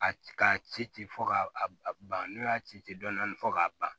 A ka ci ci fɔ ka ban n'u y'a ci ten dɔnɔni fɔ k'a ban